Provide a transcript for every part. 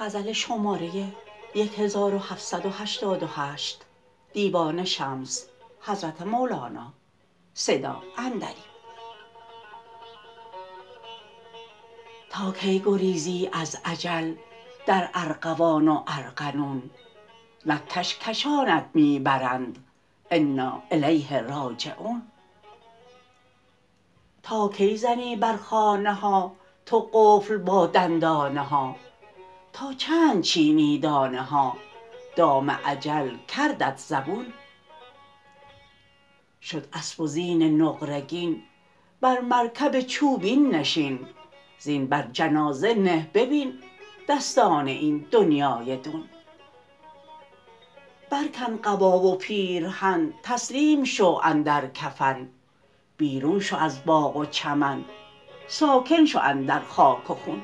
تا کی گریزی از اجل در ارغوان و ارغنون نک کش کشانت می برند انا الیه راجعون تا کی زنی بر خانه ها تو قفل با دندانه ها تا چند چینی دانه ها دام اجل کردت زبون شد اسب و زین نقره گین بر مرکب چوبین نشین زین بر جنازه نه ببین دستان این دنیای دون برکن قبا و پیرهن تسلیم شو اندر کفن بیرون شو از باغ و چمن ساکن شو اندر خاک و خون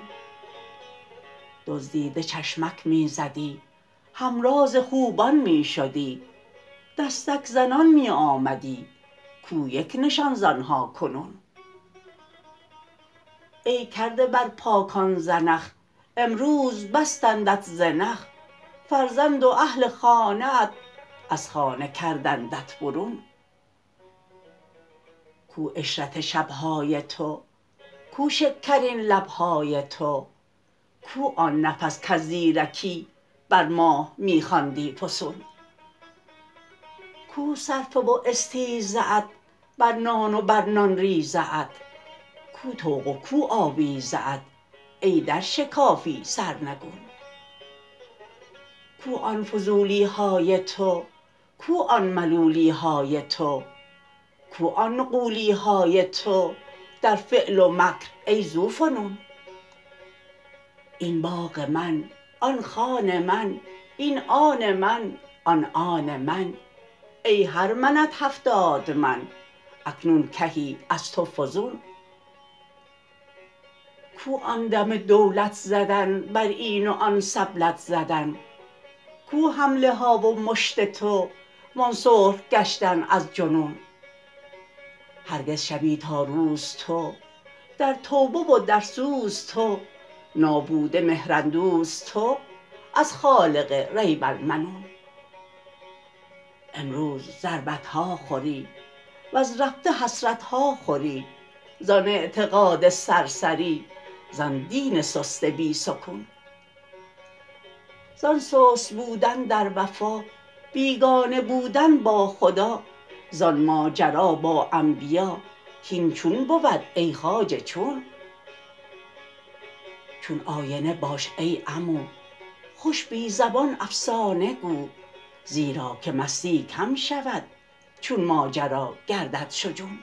دزدیده چشمک می زدی همراز خوبان می شدی دستک زنان می آمدی کو یک نشان ز آن ها کنون ای کرده بر پاکان زنخ امروز بستندت زنخ فرزند و اهل و خانه ات از خانه کردندت برون کو عشرت شب های تو کو شکرین لب های تو کو آن نفس کز زیرکی بر ماه می خواندی فسون کو صرفه و استیزه ات بر نان و بر نان ریزه ات کو طوق و کو آویزه ات ای در شکافی سرنگون کو آن فضولی های تو کو آن ملولی های تو کو آن نغولی های تو در فعل و مکر ای ذوفنون این باغ من آن خان من این آن من آن آن من ای هر منت هفتاد من اکنون کهی از تو فزون کو آن دم دولت زدن بر این و آن سبلت زدن کو حمله ها و مشت تو وان سرخ گشتن از جنون هرگز شبی تا روز تو در توبه و در سوز تو نابوده مهراندوز تو از خالق ریب المنون امروز ضربت ها خوری وز رفته حسرت ها خوری زان اعتقاد سرسری زان دین سست بی سکون زان سست بودن در وفا بیگانه بودن با خدا زان ماجرا با انبیا کاین چون بود ای خواجه چون چون آینه باش ای عمو خوش بی زبان افسانه گو زیرا که مستی کم شود چون ماجرا گردد شجون